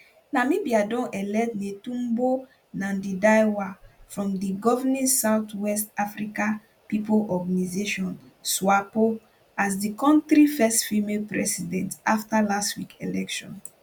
namibia don elect netumbo nandindaitwah from di governing south west africa pipo organisation swapo as di kontri first female president afta last week election